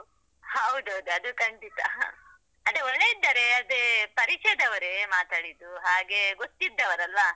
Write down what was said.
ಹೌದೌದು ಅದು ಖಂಡಿತ, ಅದೇ ಒಳ್ಳೆ ಇದ್ದಾರೆ, ಅದೇ ಪರಿಚಯದವರೇ ಮಾತಾಡಿದ್ದು, ಹಾಗೆ ಗೊತ್ತಿದ್ದವರಲ್ವ.